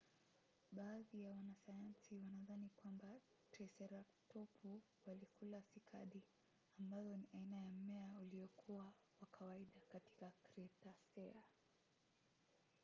baadhi ya wanasayansi wanadhani kwamba triseratopu walikula sikadi ambazo ni aina ya mmea uliokuwa wa kawaida katika kretasea